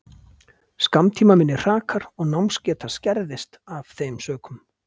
Skammtímaminni hrakar og námsgeta skerðist af þeim sökum.